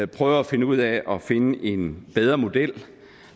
prøver at finde ud af at finde en bedre model